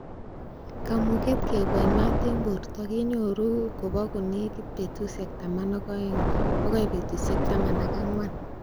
Kamuget keboi maat en borto kenyoru kobo konekit betusiek taman ak oeng bokoi betusiek taman ak Angwan.